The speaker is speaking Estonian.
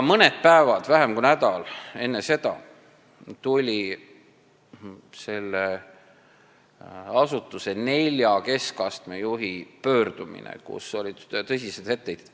Mõned päevad, vähem kui nädal enne seda tuli selle asutuse nelja keskastme juhi pöördumine, kus olid tõsised etteheited.